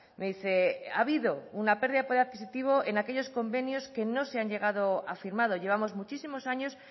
me dice ha habido una pérdida de poder adquisitivo en aquellos convenios que no se han llegado a firmar llevamos muchísimos años